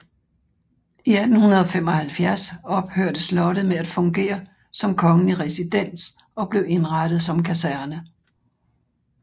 I 1785 ophørte slottet med at fungere som kongelig residens og blev indrettet som kaserne